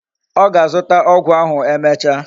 O ga-azuta ogwu ahu emecha